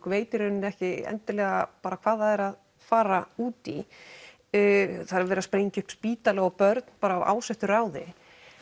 veit í rauninni ekki endilega hvað það er að fara út í það er verið að sprengja upp spítala og börn af ásettu ráði